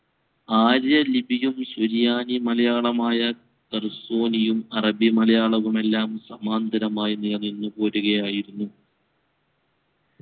ആര്യ ലിപിയും ശരിയാനി മലയാളമായ തരസോണിയും അറബി മലയാളവുമെല്ലാം സമാന്തരമായി പോരുകയായിരുന്നു